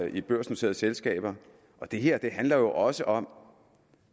i børsnoterede selskaber det her handler jo også om